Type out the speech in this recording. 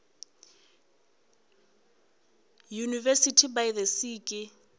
university by the sea ke